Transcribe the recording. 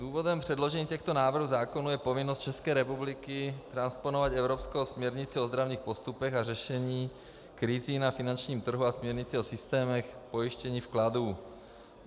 Důvodem předložení těchto návrhů zákonů je povinnost České republiky transponovat evropskou směrnici o ozdravných postupech a řešení krizí na finančním trhu a směrnici o systémech pojištění vkladů.